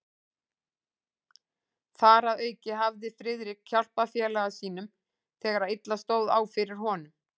Þar að auki hafði Friðrik hjálpað félaga sínum, þegar illa stóð á fyrir honum.